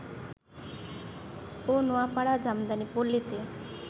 ও Noapara jamdani পল্লীতে